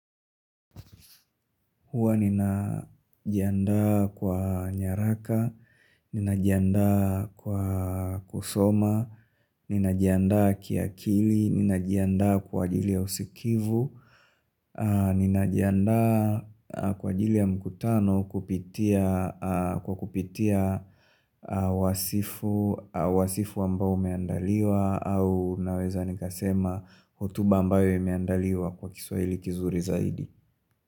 Huwa ninajianda kwa nyaraka, ninajianda kwa kusoma, ninajianda kia kili, ninajianda kwa ajili ya usikivu, ninajianda kwa ajili ya mkutano kwa kupitia wasifu ambao umeandaliwa au naweza nikasema hotuba ambayo imeandaliwa kwa kiswahili kizuri zaidi.